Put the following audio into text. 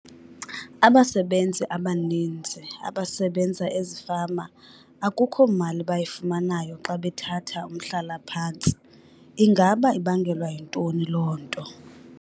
Abasebenzi abaninzi abasebenza ezifama akukho mali bayifumanayo xa bethatha umhlalaphantsi. Ingaba ibangelwa yintoni loo nto?